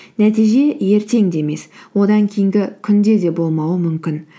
нәтиже ертең де емес одан кейінгі күнде де болмауы мүмкін